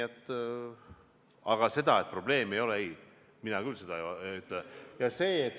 Aga seda, et probleemi ei ole, ei, mina küll ei ütle.